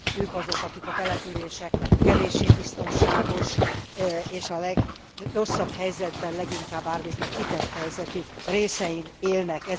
Ők azok, akik a településeknek a kevéssé biztonságos és a legrosszabb helyzetben, leginkább árvíznek kitett helyzetű részein élnek.